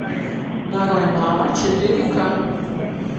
нарой мама четыре ка